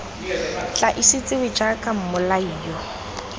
tla itsiwe jaaka mmolai yo